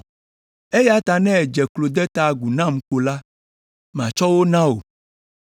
Eya ta ne èdze klo de ta agu nam ko la, matsɔ wo na wò.”